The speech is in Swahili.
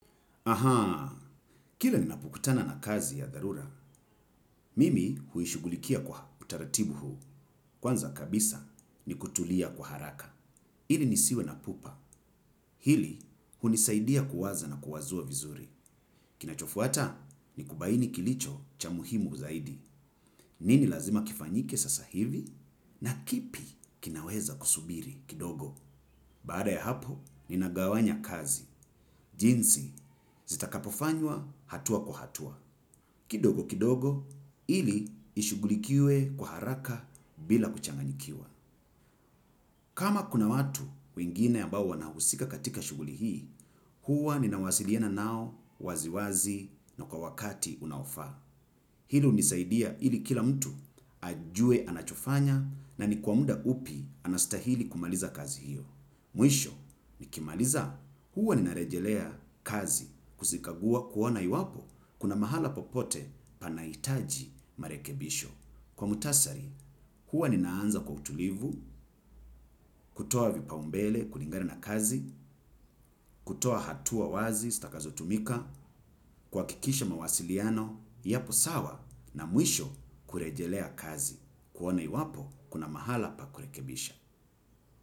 Ahaa. Kila ninapokutana na kazi ya dharura, mimi huishughulikia kwa utaratibu huu. Kwanza kabisa ni kutulia kwa haraka. Ili nisiwe na pupa. Hili hunisaidia kuwaza na kuwazua vizuri. Kinachofuata ni kubaini kilicho cha muhimu zaidi. Nini lazima kifanyike sasa hivi? Na kipi kinaweza kusubiri kidogo? Baada ya hapo, ninagawanya kazi. Jinsi, zitakapofanywa hatua kwa hatua. Kidogo kidogo, ili ishughulikiwe kwa haraka bila kuchanganyikiwa. Kama kuna watu wingine ambawo wanahusika katika shughuli hii, huwa ninawasiliana nao waziwazi na kwa wakati unaofaa. Hili hunisaidia ili kila mtu ajue anachofanya na ni kwa muda upi anastahili kumaliza kazi hiyo. Mwisho nikimaliza huwa nina rejelea kazi kuzikagua kuona iwapo kuna mahala popote panahitaji marekebisho. Kwa muktasari huwa ninaanza kwa utulivu, kutoa vipaumbele, kulingana na kazi, kutoa hatua wazi, zitakazo tumika, kuhakikisha mawasiliano, yapo sawa na mwisho kurejelea kazi. Kuona iwapo, kuna mahala pa kurekebisha.